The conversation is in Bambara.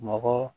Mɔgɔ